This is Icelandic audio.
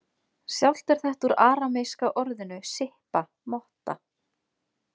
Sjálft er þetta úr arameíska orðinu „sippa“ „motta“.